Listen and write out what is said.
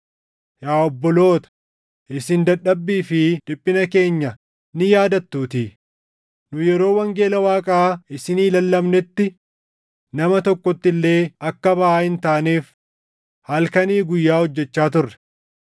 Yaa obboloota, isin dadhabbii fi dhiphina keenya ni yaadattuutii; nu yeroo wangeela Waaqaa isinii lallabnetti nama tokkotti illee akka baʼaa hin taaneef halkanii guyyaa hojjechaa turre.